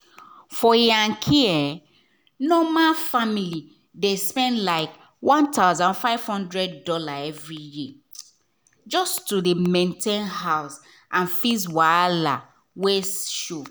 for yankee normal family dey spend like one thousand five hundred dollars every year just to maintain house and fix wahala wey show.